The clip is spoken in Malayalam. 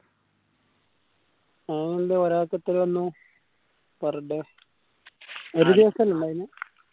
അതെന്താ ഒരാൾക്കു എത്രയെനു per day ഒരു ദിവസമല്ല ഇണ്ടായിരുന്നെ